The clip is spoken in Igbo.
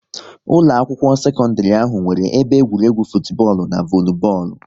Ụlọ akwụkwọ sekọndrị ahụ nwere ebe egwuregwu futubọọlu n'volubọọlụ